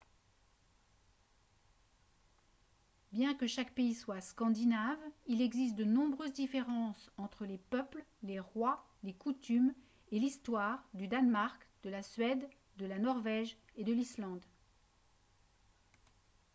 bien que chaque pays soit « scandinave » il existe de nombreuses différences entre les peuples les rois les coutumes et l'histoire du danemark de la suède de la norvège et de l'islande